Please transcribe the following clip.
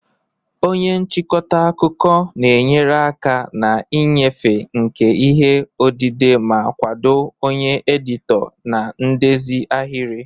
Onye nchịkọta akụkọ enyemaka na-enyere aka na nnyefe nke ihe odide ma kwado onye editọ na ndezi ahịrị.